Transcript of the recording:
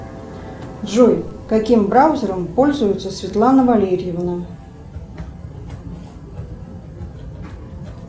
джой каким браузером пользуется светлана валерьевна